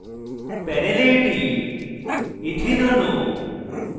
প্যানেলে এটি ethene ethene অণু